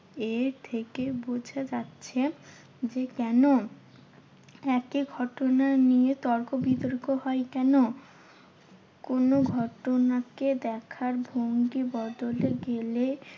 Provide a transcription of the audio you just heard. এর থেকে বোঝা যাচ্ছে যে, কেন একই ঘটনা নিয়ে তর্ক বিতর্ক হয় কেন? কোনো ঘটনাকে দেখার ভঙ্গি বদলে গেলে